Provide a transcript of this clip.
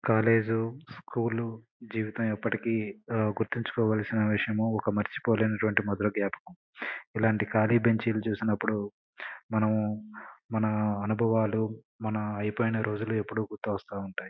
College school జీవితము ఎప్పటికీ ఆ గుర్తుంచుకోవలసిన విషయము. ఎప్పటికీ మర్చిపోలేను మధుర జ్ఞాపకం. ఇలాంటి కాలి బెంచీ లు చూసినప్పుడు మనం మన అనుభవాలు ఎప్పుడు గుర్తొస్తుంటాయి.